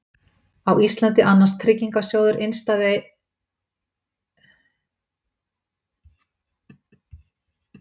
Á Íslandi annast Tryggingarsjóður innstæðueigenda og fjárfesta þetta hlutverk.